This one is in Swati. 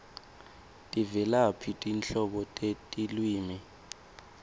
tivelaphi tinhlobo tetilwimi